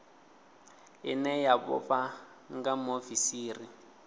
ine ya vhofha nga muofisiri